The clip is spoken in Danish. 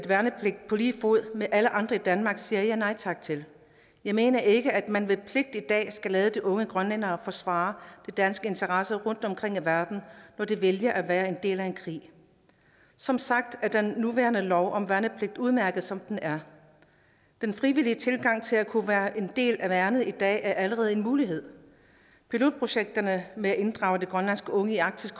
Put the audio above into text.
værnepligt på lige fod med alle andre i danmark siger jeg nej tak til jeg mener ikke at man ved pligt i dag skal lade unge grønlændere forsvare danske interesser rundtomkring i verden når de vælger at være en del af en krig som sagt er den nuværende lov om værnepligt udmærket som den er den frivillige tilgang til at kunne være en del af værnet i dag er allerede en mulighed pilotprojekterne med at inddrage de grønlandske unge i arktisk